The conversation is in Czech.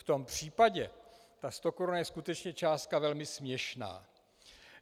V tom případě ta stokoruna je skutečně částka velmi směšná.